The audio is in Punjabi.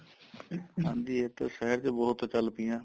ਹਾਂਜੀ ਇਹ ਤਾਂ ਸ਼ਹਿਰ ਚ ਬਹੁਤ ਚੱਲ ਪਈਆਂ